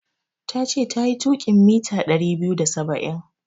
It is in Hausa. Tace tayi tuƙin mita ɗari biyu da saba'in.